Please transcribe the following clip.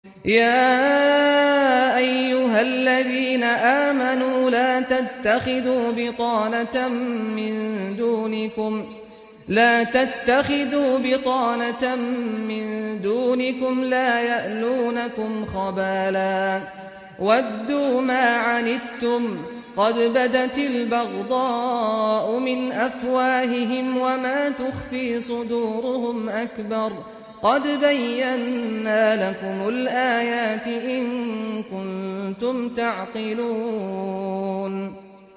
يَا أَيُّهَا الَّذِينَ آمَنُوا لَا تَتَّخِذُوا بِطَانَةً مِّن دُونِكُمْ لَا يَأْلُونَكُمْ خَبَالًا وَدُّوا مَا عَنِتُّمْ قَدْ بَدَتِ الْبَغْضَاءُ مِنْ أَفْوَاهِهِمْ وَمَا تُخْفِي صُدُورُهُمْ أَكْبَرُ ۚ قَدْ بَيَّنَّا لَكُمُ الْآيَاتِ ۖ إِن كُنتُمْ تَعْقِلُونَ